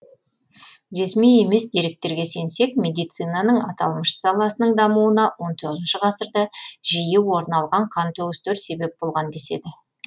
ресми емес деректерге сенсек медицинаның аталмыш саласының дамуына он тоғызыншы ғасырда жиі орын алған қантөгістер себеп болған деседі